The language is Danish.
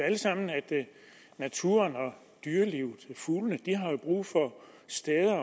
alle sammen at naturen dyrelivet og fuglene har brug for steder